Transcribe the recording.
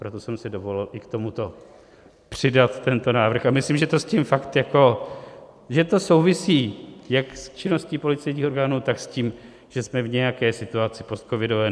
Proto jsem se dovolil i k tomuto přidat tento návrh a myslím, že to s tím fakt jako... že to souvisí jak s činností policejních orgánů, tak s tím, že jsme v nějaké situaci postcovidové.